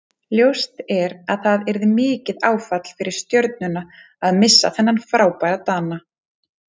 Ljóst er að það yrði mikið áfall fyrir Stjörnuna að missa þennan frábæra Dana.